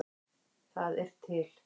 Þar eru til